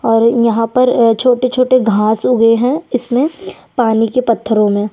और यहाँ पर छोटे-छोटे घाँस उगे है इसमें पानी के पत्थरो में--